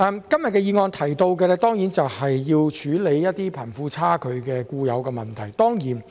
今天的議案提出要處理貧富差距的固有問題。